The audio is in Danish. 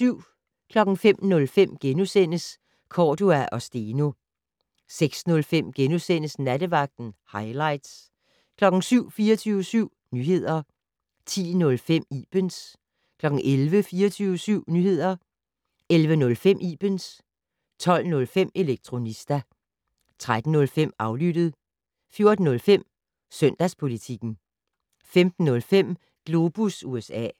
05:05: Cordua & Steno * 06:05: Nattevagten - hightlights * 07:00: 24syv Nyheder 10:05: Ibens 11:00: 24syv Nyheder 11:05: Ibens 12:05: Elektronista 13:05: Aflyttet 14:05: Søndagspolitikken 15:05: Globus USA